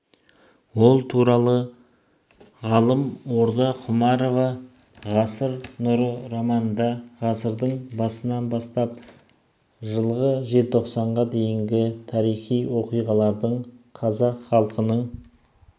ол туралы ғалым орда құмарова ғасыр нұры романына ғасырдың басынан бастап жылғы желтоқсанға дейінгі тарихи оқиғалардың қазақ халықының